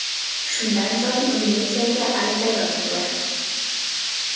Shundan so‘ng, militsiyaga ariza yozildi.